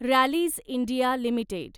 Rallis India limited